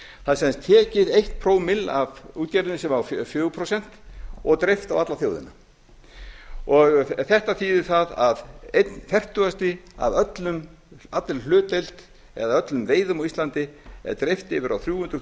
það er sem sagt tekið eitt pro bil af útgerðinni sem á fjögur prósent og dreift á alla þjóðina þetta þýðir það að einn fertugasta af allri hlutdeild eða öllum veiðum á íslandi er dreift yfir á þrjú hundruð